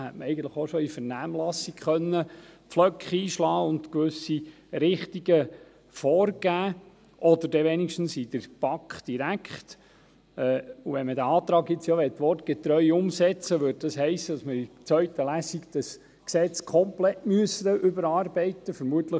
Eigentlich hätte man bereits in der Vernehmlassung Pflöcke einschlagen und gewisse Richtungen vorgeben können, oder wenigstens direkt in der BaK. Wenn man diesen Antrag nun wortgetreu umsetzen wollte, bedeutete dies, dass wir das Gesetz in der zweiten Lesung komplett überarbeiten müssten.